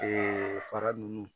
fara ninnu